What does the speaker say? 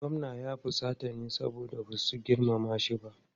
Gwamnan ya fusata ne saboda ba su girmama shi ba.